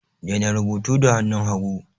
Daina rubutu da hannun hagu!